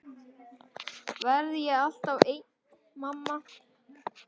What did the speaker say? Verð ég þá alltaf ein?